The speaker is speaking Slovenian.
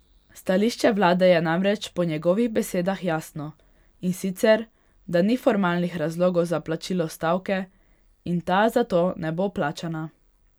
Stališče vlade je namreč po njegovih besedah jasno, in sicer da ni formalnih razlogov za plačilo stavke in ta zato ne bo plačana.